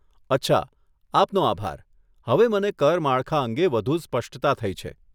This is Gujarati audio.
અચ્છા, આપનો આભાર, હવે મને કર માળખા અંગે વધુ સ્પષ્ટતા થઇ છે.